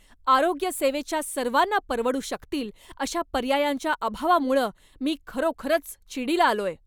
आरोग्यसेवेच्या सर्वांना परवडू शकतील अशा पर्यायांच्या अभावामुळं मी खरोखरच चिडीला आलोय.